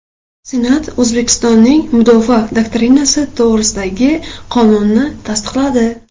Senat O‘zbekistonning mudofaa doktrinasi to‘g‘risidagi qonunni tasdiqladi.